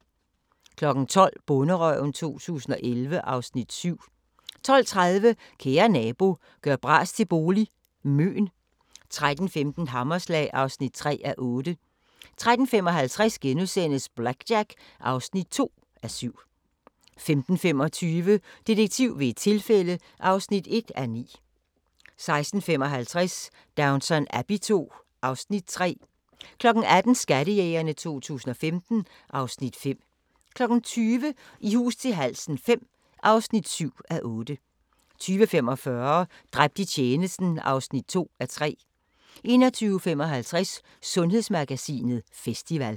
12:00: Bonderøven 2011 (Afs. 7) 12:30: Kære nabo – gør bras til bolig – Møn 13:15: Hammerslag (3:8) 13:55: BlackJack (2:7)* 15:25: Detektiv ved et tilfælde (1:9) 16:55: Downton Abbey II (Afs. 3) 18:00: Skattejægerne 2015 (Afs. 5) 20:00: I hus til halsen V (7:8) 20:45: Dræbt i tjenesten (2:3) 21:55: Sundhedsmagasinet Festival